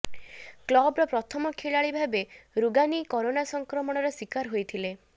କ୍ଲବର ପ୍ରଥମ ଖେଳାଳି ଭାବେ ରୁଗାନି କରୋନା ସଂକ୍ରମଣର ଶିକାର ହୋଇଥିଲେ